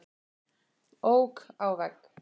Ók á vegg